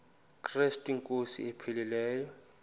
krestu inkosi ephilileyo